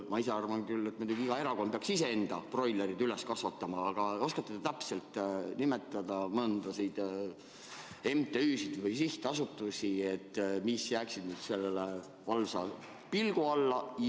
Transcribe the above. Ma ise arvan küll, et muidugi iga erakond peaks ise enda broilerid üles kasvatama, aga kas te oskate nimetada mõnda MTÜ-d ja sihtasutust, mis jääksid selle valvsa pilgu alla?